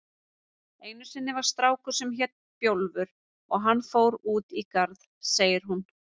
Einu sinni var strákur sem hét Bjólfur og hann fór út í garð, segir hún.